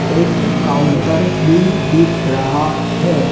एक काउंटर भी दिख रहा है।